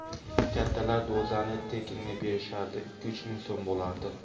Kattalar dozani tekinga berishardi, ikki-uch ming so‘m bo‘lardi.